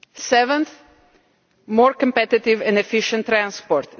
Seventh more competitive and efficient transport.